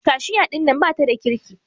Kashiya ɗinnan bata da kirki.